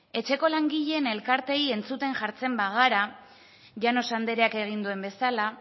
etxeko langileen elkarteei entzuten jartzen bagara llanos andreak egin duen bezala